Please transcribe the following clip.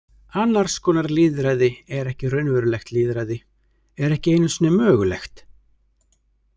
Annars konar lýðræði er ekki raunverulegt lýðræði, er ekki einu sinni mögulegt.